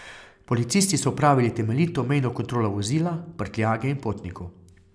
Policisti so opravili temeljito mejno kontrolo vozila, prtljage in potnikov.